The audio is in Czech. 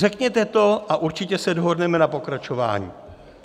Řekněte to a určitě se dohodneme na pokračování.